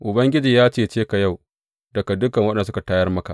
Ubangiji ya cece ka yau daga dukan waɗanda suka tayar maka.